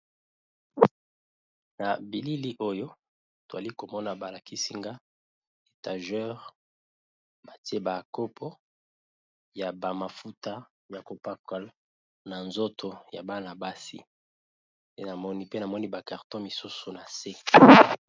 Na bilili oyo twali komona balakisinga etageur batie ba kopo ya ba mafuta ya ko pakola na nzoto ya bana-basi nde namoni pe namoni ba carton misusu na se.